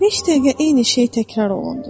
Neçə dəqiqə eyni şey təkrar olundu.